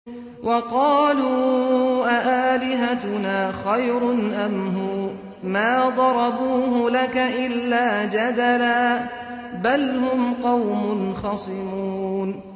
وَقَالُوا أَآلِهَتُنَا خَيْرٌ أَمْ هُوَ ۚ مَا ضَرَبُوهُ لَكَ إِلَّا جَدَلًا ۚ بَلْ هُمْ قَوْمٌ خَصِمُونَ